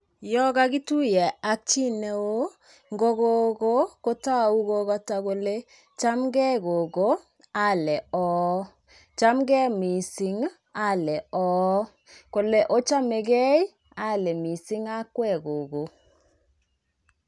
Yo kakituiye ak chi neo, ngo gogo kotou kokoto kole chamge gogo, ale ooh, chamge mising ale ooh, kole ochamegei? ale mising akwek gogo.